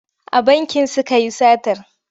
A banki suka yi satar.